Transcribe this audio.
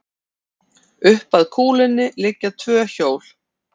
Upp að kúlunni liggja tvö hjól.